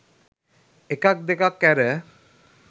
එකක් දෙකක් ඇර.